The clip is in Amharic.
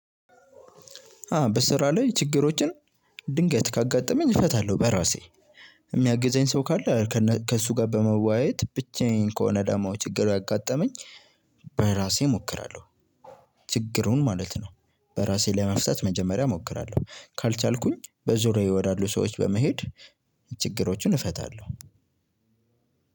አዎ በስራ ላይ ችግሮችን ድንገት ካጋጠመኝ እፈታለሁ በራሴ። የሚያግዘኝ ሰው ካለ። ከእሱ ጋር በመዋየት ብቻዬን ከሆነ ደግሞ ችግሩ ያጋጠመኝ በእራሴ እሞክራለሁ። ችግሩን ማለት ነው በራሴ ለመፍታት መጀመሪያ እሞክራለሁ ካልቻልኩኝ በዙሪያየ ወዳሉ ሰዎች በመሄድ ችግሮችን እፈታለሁ።